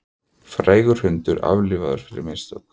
Frægur hundur aflífaður fyrir mistök